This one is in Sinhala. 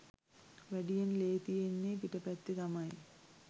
වැඩියෙන් ලේ තියෙන්නෙ පිට පැත්තෙ තමයි.